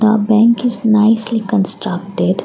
a bank is nicely constructed.